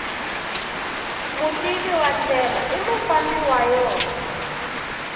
mutivi wa ndlela i mufambi wa yona